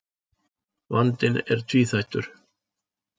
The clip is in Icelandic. Vandinn er tvíþættur.